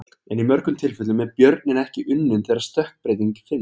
En í mörgum tilfellum er björninn ekki unninn þegar stökkbreyting finnst.